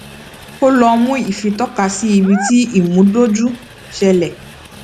kólọọmù ifi tọkasí ibi tí ìmúdójú ṣẹlẹ